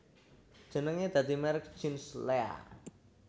Jenenge dadi merk jeans Lea